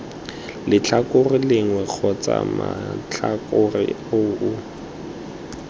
letlhakore lengwe kgotsa matlhakore oo